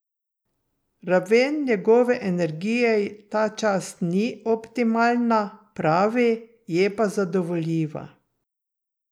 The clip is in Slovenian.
Raven njegove energije ta čas ni optimalna, pravi, je pa zadovoljiva.